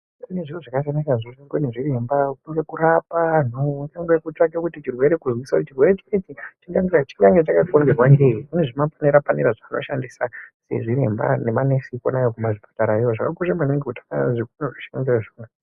Kune zviro zvakasiyana siyana zvinoshandiswa ngaanachiremba kurapa antu veitsvake kuzwisisa kuti chirwere chinechi chinge chakokonzerwa ngeyi. Kune zvipanera panera zvavanoshandisa vanachiremba nemanesi kwona ikweyo kuzvipatarayo. Zvakakosha maningi kuti zvikwanisiro zviwanikwe.